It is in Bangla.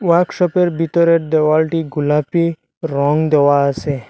ওয়ার্কশপের বিতরের দেওয়ালটি গুলাপি রং দেওয়া আসে।